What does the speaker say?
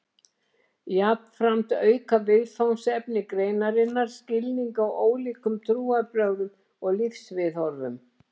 Jafnframt auka viðfangsefni greinarinnar skilning á ólíkum trúarbrögðum og lífsviðhorfum.